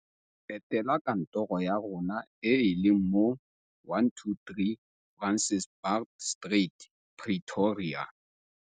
Etela kantoro ya rona e e leng mo 123 Francis Baard Street, Pretoria.